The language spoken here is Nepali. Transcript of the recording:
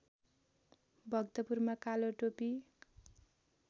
भक्तपुरमा कालो टोपी